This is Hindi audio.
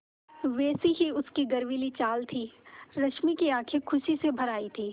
वैसी ही उसकी गर्वीली चाल थी रश्मि की आँखें खुशी से भर आई थीं